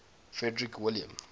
frederick william